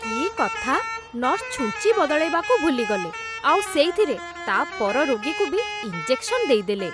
କି କଥା, ନର୍ସ ଛୁଞ୍ଚି ବଦଳେଇବାକୁ ଭୁଲିଗଲେ ଆଉ ସେଇଥିରେ ତା' ପର ରୋଗୀକୁ ବି ଇଞ୍ଜେକ୍ସନ୍ ଦେଇଦେଲେ ।